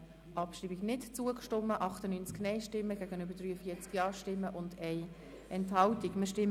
Sie haben der Abschreibung mit 98 Nein- gegenüber 43 Ja-Stimmen bei 1 Enthaltung nicht zugestimmt.